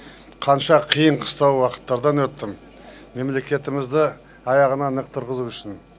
қанша қиын қыстау уақыттардан өттім мемлекетімізді аяғынан нық тұрғызу үшін